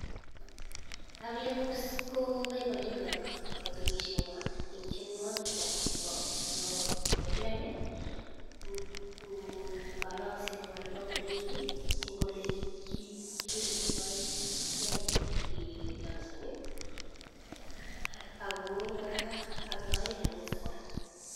Kaplem ko boiboiechi kotunishenywan en tyenuokik kwak chebo chebo plem ek kolokse nywan neo ingoroik kii en kole kipirpirtogee kee kedonceni Ako koraa ak yoyoe kanisa koraa.